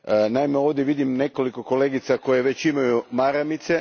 Naime, ovdje vidim nekoliko kolegica koje već imaju maramice.